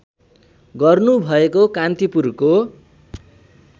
गर्नु भएको कान्तिपुरको